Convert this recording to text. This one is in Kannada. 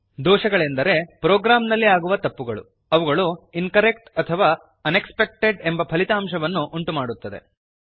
ದೋಷಗಳೆಂದರೆ ಪ್ರೋಗ್ರಾಮ್ ನಲ್ಲಿ ಆಗುವ ತಪ್ಪುಗಳು ಅವುಗಳು ಇನ್ಕರೆಕ್ಟ್ ಅಥವಾ ಅನೆಕ್ಸ್ಪೆಕ್ಟೆಡ್ ಎಂಬ ಫಲಿತಾಂಶವನ್ನು ಉಂಟುಮಾಡುತ್ತದೆ